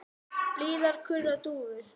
Blíðar kurra dúfur.